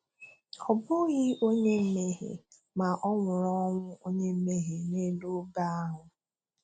Ọ bụghị onye mmehie, ma Ọ nwụrụ ọnwụ onye mmehie n'elu obe ahụ.